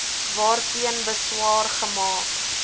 waarteen beswaar gemaak